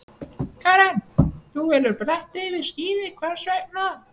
Karen: Þú velur bretti fram yfir skíði, hvers vegna?